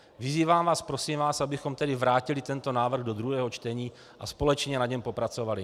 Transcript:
Vyzývám vás, prosím vás, abychom tedy vrátili tento návrh do druhého čtení a společně na něm popracovali.